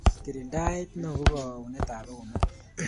Kirindaet neo ko kaunetab keunek